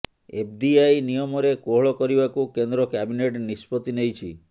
FDI ନିୟମରେ କୋହଳ କରିବାକୁ କେନ୍ଦ୍ର କ୍ୟାବିନେଟ ନିଷ୍ପତ୍ତି ନେଇଛି